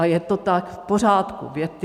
A je to tak v pořádku.